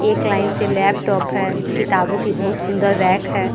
एक लाइन से लैपटॉप है किताबों की बहुत सुन्दर रेक है।